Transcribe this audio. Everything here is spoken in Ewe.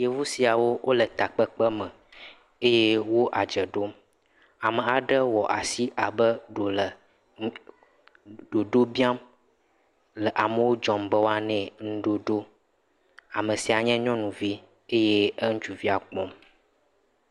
Yevu siawo le takpekpeme eye woadze ɖom ame aɖe wɔ asi abe ɖee wòle ɖoɖo biam le amewo dzɔ be woanae nuɖoɖo ame sia nye nyɔnuvi eye eŋutsuvia kpɔm